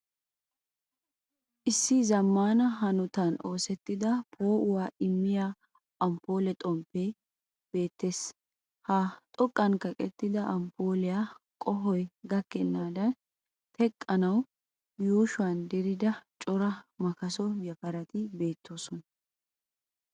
Issi zammana hanottan oosettida poo'uwaa immiyaa amppole beettes. Ha xoqqani kaqettida amppoliyaa qohoy gakkenadani teqqanawu yushshuwaa diridda cora makkasso yafaratti beetossona.